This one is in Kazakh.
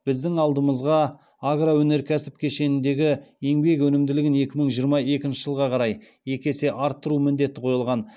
біздің алдымызға агроөнеркәсіп кешеніндегі еңбек өнімділігін екі мың жиырма екінші жылға қарай екі есе арттыру міндеті қойылған